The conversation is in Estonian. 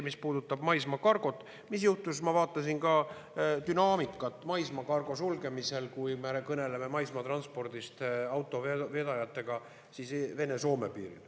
Mis puudutab maismaakargot, siis ma vaatasin dünaamikat maismaakargo sulgemisel Vene-Soome piiril, kui me kõneleme maismaatranspordist.